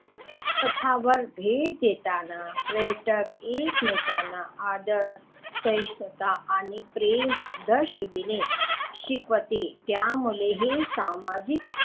पथावर भेट देताना पर्यटक एकमेकांना आदर सहिष्णुता आणि प्रेम दर्शविणे शिकवते त्यामुळे हे सामाजिक,